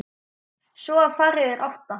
Svo var það fyrir átta.